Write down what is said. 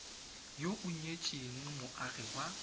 yo o nyetseng moagi wa